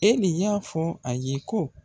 E de y'a fɔ a ye ko